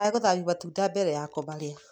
Ndũkage gũthambia matunda mbere ya kũmarĩa.